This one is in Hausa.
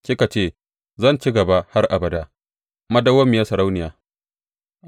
Kika ce, Zan ci gaba har abada, madawwamiyar sarauniya!’